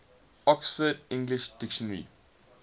oxford english dictionary